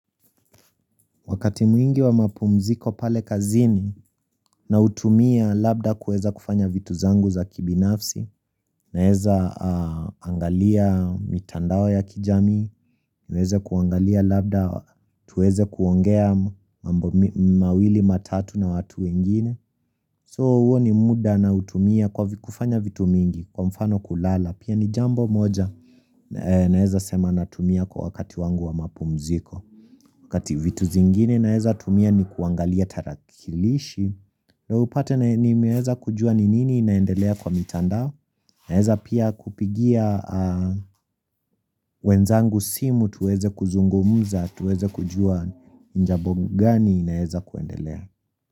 Wakati mwingi wa mapumziko pale kazini nautumia labda kueza kufanya vitu zangu za kibinafsi naeza angalia mitandao ya kijami na heze kuangalia labda tuweze kuongea mambo mawili matatu na watu wengine. So uo ni muda nautumia kufanya vitu mingi kwa mfano kulala pia ni jambo moja naeza sema natumia kwa wakati wangu wa mapumziko kati vitu zingine naeza tumia ni kuangalia tarakilishi na upate ni meweza kujua ni nini inaendelea kwa mitanda naeza pia kupigia wenzangu simu tuweze kuzungumuza tuweze kujua ni jambo ngani naeza kuendelea.